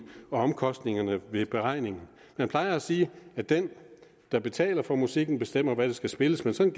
omkostningerne ved beregningen man plejer at sige at den der betaler for musikken bestemmer hvad der skal spilles men sådan